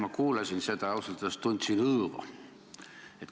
Ma kuulasin seda ja ausalt öeldes tundsin õõva.